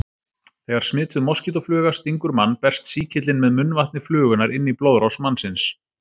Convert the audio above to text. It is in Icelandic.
Þegar smituð moskítófluga stingur mann berst sýkillinn með munnvatni flugunnar inn í blóðrás mannsins.